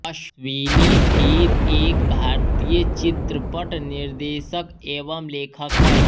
अश्विनी धीर एक भारतीय चित्रपट निर्देशक एवं लेखक है